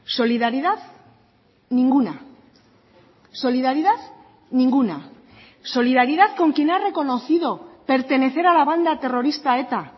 solidaridad ninguna solidaridad ninguna solidaridad con quien ha reconocido pertenecer a la banda terrorista eta